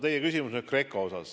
Teie küsimus oli GRECO kohta.